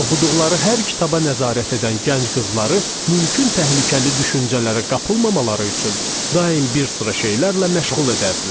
Oxuduqları hər kitaba nəzarət edən gənc qızları mümkün təhlükəli düşüncələrə qapılmamaları üçün daim bir sıra şeylərlə məşğul edərdilər.